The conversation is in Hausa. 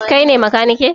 Kai ne makaniki?